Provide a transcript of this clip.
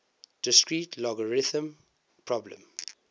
discrete logarithm problem